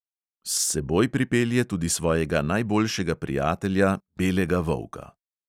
S seboj pripelje tudi svojega najboljšega prijatelja, belega volka.